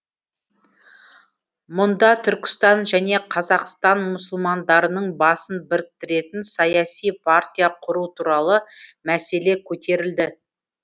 мұнда түркістан және қазақстан мұсылмандарының басын біріктіретін саяси партия құру туралы мәселе көтерілді